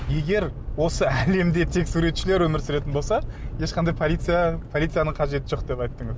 егер осы әлемде тек суретшілер өмір сүретін болса ешқандай полиция полицияның қажеті жоқ деп айттыңыз